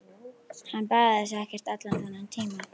Hann baðaði sig ekkert allan þennan tíma.